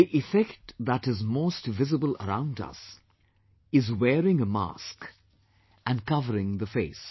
The effect that is most visible around us, is wearing a mask and covering the face